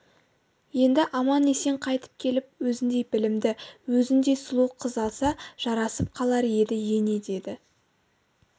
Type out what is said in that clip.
енді аман-есен қайтып келіп өзіндей білімді өзіндей сұлу қыз алса жарасып қалар еді ене деді